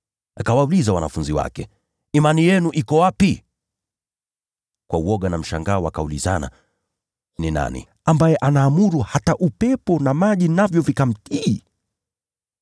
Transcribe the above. Akawauliza wanafunzi wake, “Imani yenu iko wapi?” Kwa woga na mshangao wakaulizana, “Huyu ni nani, ambaye anaamuru hata upepo na maji, navyo vikamtii?”